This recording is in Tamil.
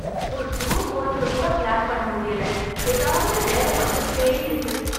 ஒரு டூர் போறதுக்கு கூட பிளான் பண்ண முடியல ஏதாவது வேலை வந்துகிட்டே இருக்கு.